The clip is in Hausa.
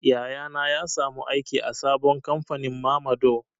Yaya na ya samu aiki a sabon kamfanin mamador.